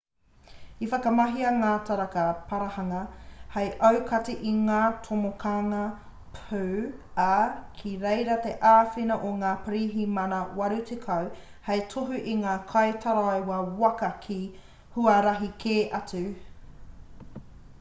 i whakamahia ngā taraka parahanga hei aukati i ngā tomokanga pū ā ki reira te āwhina o ngā pirihimana 80 hei tohu i ngā kaitaraiwa waka ki huarahi kē atu